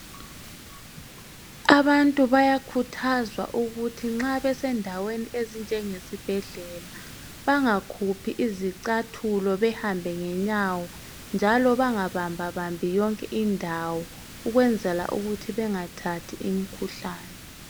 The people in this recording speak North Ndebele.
Abantu bayakhuthazwa ukuthi nxa besendaweni enjengesibhedlela bengakhuphi izicathula behambe ngenyawo njalo bengabambabambi yonke indawo ukwenzela ukuthi bengathathi imkhuhlane.